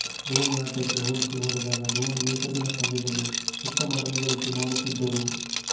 ಧೋನಿ ಆಟಕ್ಕೆ ಹೋಲಿಸಿ ನೋಡಿದಾಗ ಧೋನಿ ಏಕದಿನ ಪಂದ್ಯದಲ್ಲಿ ಉತ್ತಮ ರನ್ ಗಳಿಕೆ ಮಾಡುತ್ತಿದ್ದರು